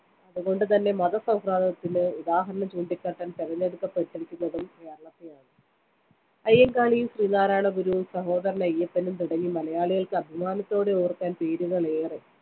അതുകൊണ്ട്‌ തന്നെ മതസൗഹാർദ്ദത്തിന്‌ ഉദാഹരണം ചൂണ്ടിക്കാട്ടാൻ തെരഞ്ഞെടുക്കപ്പെട്ടിരിക്കുന്നതും കേരളത്തെയാണ്‌. അയ്യങ്കാളിയും ശ്രീനാരായണഗുരുവും സഹോദരൻ അയ്യപ്പനും തുടങ്ങി മലയാളികൾക്ക്‌ അഭിമാനത്തോടെ ഓർക്കാൻ പേരുകൾ ഏറെ.